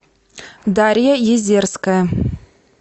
дарья езерская